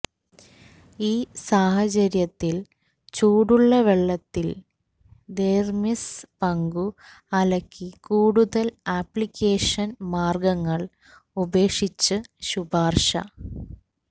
ഈ സാഹചര്യത്തിൽ ചൂടുള്ള വെള്ളത്തിൽ ദെര്മിസ് പങ്കു അലക്കി കൂടുതൽ അപ്ലിക്കേഷൻ മാർഗങ്ങൾ ഉപേക്ഷിച്ച് ശുപാർശ